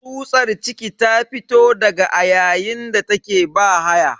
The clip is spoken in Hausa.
Tsutsar ciki ta fito daga a yayin da take bahaya.